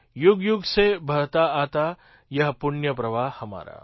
યુગ યુગ સે બહતા આતા યહ પુણ્ય પ્રવાહ હમારા